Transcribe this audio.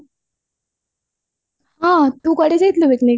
ହଁ ତୁ କୁଆଡେ ଯାଇଥିଲୁ picnic